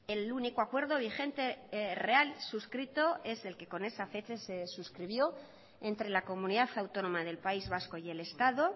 el único acuerdo vigente real suscrito es el que con esa fecha se suscribió entre la comunidad autónoma del país vasco y el estado